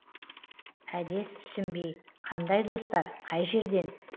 әдес түсінбей қандай достар қай жерден